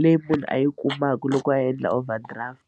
leyi munhu a yi kumaka loko a endla overdraft.